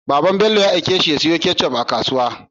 Baban Bello ya aike shi ya siyo ketchup a kasuwa